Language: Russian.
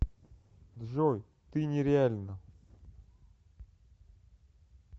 джой ты нереальна